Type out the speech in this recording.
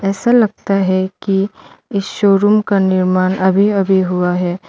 ऐसा लगता है कि इस शोरूम का निर्माण अभी अभी हुआ है।